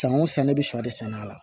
San o san ne bɛ sɔ de sɛnɛ a la